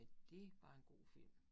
Men det var en god film